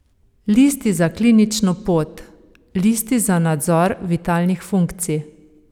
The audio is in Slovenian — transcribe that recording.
Listi za klinično pot, listi za nadzor vitalnih funkcij.